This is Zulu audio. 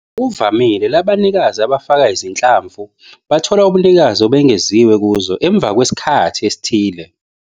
Ngokuvamile, labanikazi abafaka izinhlamvu bathola ubunikazi obengeziwe kuzo, emva kwesikhathi esithile.